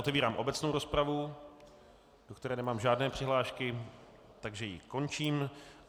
Otevírám obecnou rozpravu, do které nemám žádné přihlášky, takže ji končím.